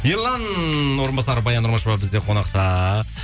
ерлан орынбасаров баян нұрмышева бізде қонақта